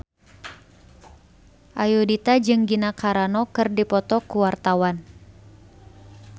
Ayudhita jeung Gina Carano keur dipoto ku wartawan